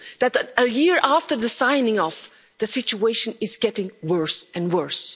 That a year after the signing off, the situation is getting worse and worse.